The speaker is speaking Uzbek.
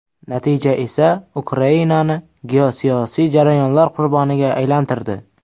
Natija esa Ukrainani geosiyosiy jarayonlar qurboniga aylantirdi.